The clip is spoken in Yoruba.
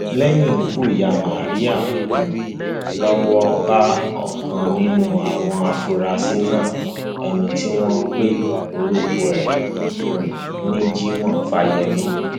lẹyìn ikú ìyá maria um lọwọ bá ọkan nínú àwọn afurasí náà ẹni tí wọn pe orúkọ ẹ um ní jimoh fáyemí